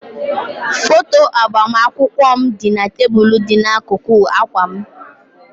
Foto agbamakwụkwọ m dị na tebụl dị n'akụkụ akwa m